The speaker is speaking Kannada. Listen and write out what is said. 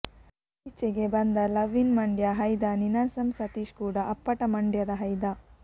ಇತ್ತೀಚೆಗೆ ಬಂದ ಲವ್ ಇನ್ ಮಂಡ್ಯ ಹೈದ ನೀನಾಸಂ ಸತೀಶ್ ಕೂಡ ಅಪ್ಪಟ ಮಂಡ್ಯದ ಹೈದ